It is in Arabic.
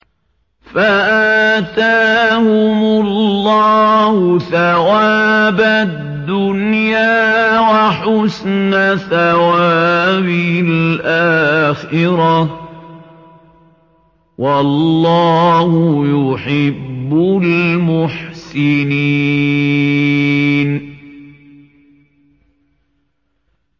فَآتَاهُمُ اللَّهُ ثَوَابَ الدُّنْيَا وَحُسْنَ ثَوَابِ الْآخِرَةِ ۗ وَاللَّهُ يُحِبُّ الْمُحْسِنِينَ